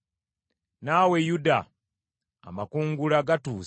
“Naawe Yuda, amakungula gatuuse. “Bwe ndikomyawo emikisa gy’abantu bange,